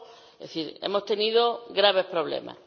Es decir, hemos tenido graves problemas.